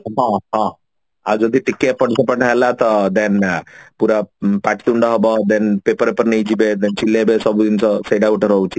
ହଁ ହଁ ଆଉ ଯଦି ଟିକେ ଏପଟ ସେପଟ ହେଲା ତ then ପୁରା ପ ପାଟିତୁଣ୍ଡ ହବ then paper ଫେପର ନେଇଯିବେ ସେଟ ଗୋଟେ ରହୁଛି